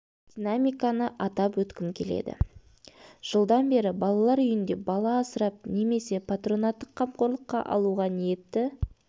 динамиканы атап өткім келеді жылдан бері балалар үйінде бала асырап немесе патронаттық қамқорлыққа алуға ниетті